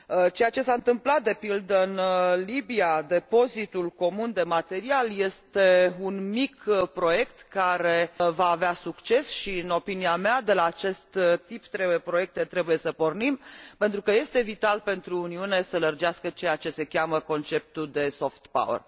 Ceea ce s a întâmplat, de pildă, în Libia, depozitul comun de material este un mic proiect care va avea succes și, în opinia mea, de la acest tip de proiecte trebuie să pornim, pentru că este vital pentru Uniune să lărgească ceea ce se cheamă conceptul de soft power.